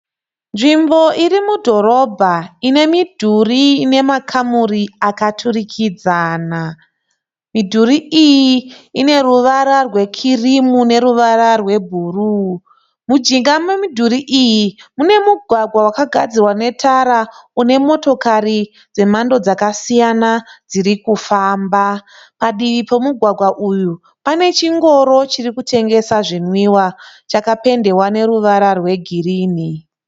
Nzvimbo iri mudhorobha ine midhuri ine makamuri akaturikidzana. Midhuri iyi ine ruvara rwekirimu neruvara rwebhuruu. Mujinga memudhuri iyi mune mugwagwa wakagadzirwa netara une motokari dzemhando dzakasiyana dzirikufamba. Padivi pomugwagwa uyu pane chingoro chiri kutengesa zvinwiwa chakapendewa neruvara rwegirini.